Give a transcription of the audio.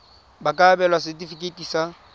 ba ka abelwa setefikeiti sa